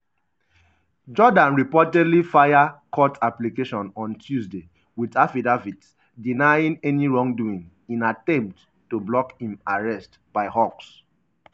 jordaan reportedly file court application on tuesday wit affidavit denying any wrongdoing in attempt to block im arrest by hawks.